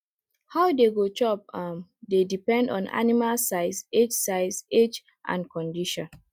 how dey go chop um dey depend on animal size age size age and condition